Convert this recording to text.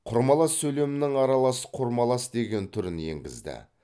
құрмалас сөйлемнің аралас құрмалас деген түрін енгізді